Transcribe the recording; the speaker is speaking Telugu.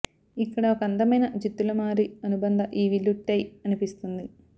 ఇక్కడ ఒక అందమైన జిత్తులమారి అనుబంధ ఈ విల్లు టై అనిపిస్తుంది